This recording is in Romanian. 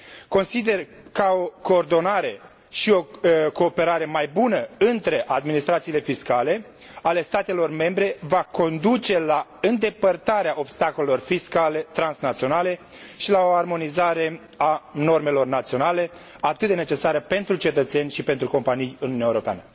Consider că o coordonare și o cooperare mai bună între administrațiile fiscale ale statelor membre va conduce la îndepărtarea obstacolelor fiscale transnaționale și la o armonizare a normelor naționale, atât de necesară pentru cetățeni și pentru companii în Uniunea Europeană.